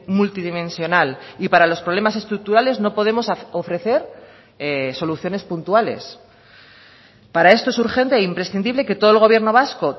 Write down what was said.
multidimensional y para los problemas estructurales no podemos ofrecer soluciones puntuales para esto es urgente e imprescindible que todo el gobierno vasco